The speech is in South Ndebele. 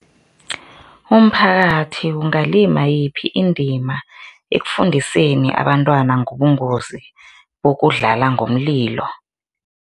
Umphakathi ungalima yiphi indima ekufundiseni abantwana ngobungozi bokudlala ngomlilo?